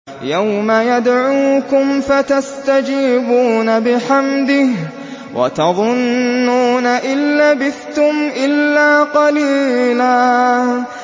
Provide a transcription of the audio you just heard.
يَوْمَ يَدْعُوكُمْ فَتَسْتَجِيبُونَ بِحَمْدِهِ وَتَظُنُّونَ إِن لَّبِثْتُمْ إِلَّا قَلِيلًا